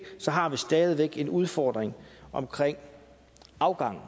har vi stadig væk en udfordring omkring afgangen